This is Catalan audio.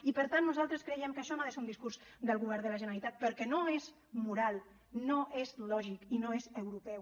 i per tant nosaltres creiem que això no és un discurs del govern de la generalitat perquè no és moral no és lògic i no és europeu